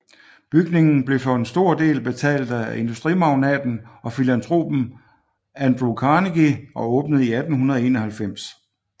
Bygningen blev for en stor del betalt af industrimagnaten og filantropen Andrew Carnegie og åbnede i 1891